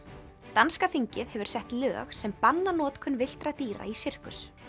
danska þingið hefur sett lög sem banna notkun villtra dýra í sirkus